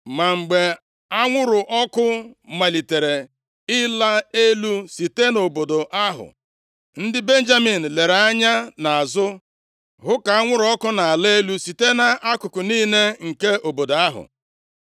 Ma mgbe anwụrụ ọkụ malitere ịla elu site nʼobodo ahụ, ndị Benjamin lere anya nʼazụ hụ ka anwụrụ ọkụ na-ala elu site nʼakụkụ niile nke obodo ahụ.